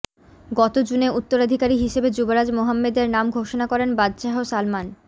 গত জুনে উত্তরাধিকারী হিসাবে যুবরাজ মোহাম্মেদের নাম ঘোষণা করেন বাদশাহ সালমান